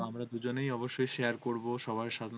আমরা দুজনেই অবশ্যই share করবো. সবার সামনে